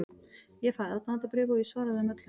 Ég fæ aðdáendabréf og ég svara þeim öllum.